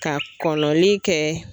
Ka kɔlɔli kɛ.